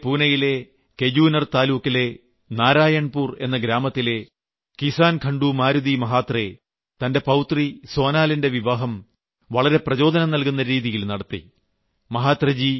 മഹാരാഷ്ട്രയിലെ പൂനയിലെ കെജൂനർ താലൂക്കിലെ നാരായൺപുർ എന്ന ഗ്രാമത്തിലെ കിസാൻ ഘംഡു മാരുതി മഹാത്രെ തന്റെ പൌത്രി സോനലിന്റെ വിവാഹം വളരെ പ്രചോദനം നൽകുന്ന രീതിയിൽ നടത്തി